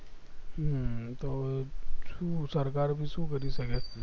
હમ તો શું સરકાર ભી શું કરી શકે